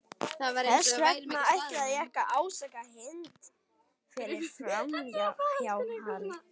Þess vegna ætla ég ekki að ásaka Hind fyrir framhjáhald.